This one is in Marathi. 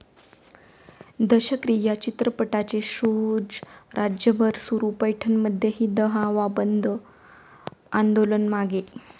दशक्रिया' चित्रपटाचे शोज राज्यभर सुरू, पैठणमध्येही 'दहावा बंद' आंदोलन मागे!